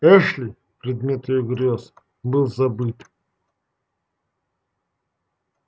эшли предмет её грёз был забыт